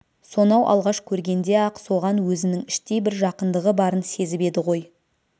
сонау алғаш көргенде-ақ соған өзінің іштей бір жақындығы барын сезіп еді ғой